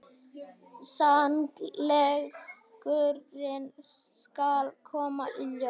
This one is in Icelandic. Sannleikurinn skal koma í ljós.